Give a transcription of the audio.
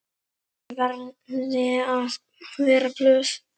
Ég verði að vera glöð.